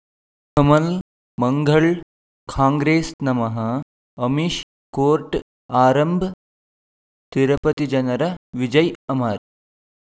ಕಮಲ್ ಮಂಗಳ್ ಕಾಂಗ್ರೆಸ್ ನಮಃ ಅಮಿಷ್ ಕೋರ್ಟ್ ಆರಂಭ್ ತಿರುಪತಿ ಜನರ ವಿಜಯ ಅಮರ್